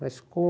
Mas